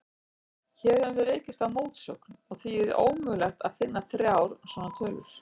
Hér höfum við rekist á mótsögn, og því er ómögulegt að finna þrjár svona tölur.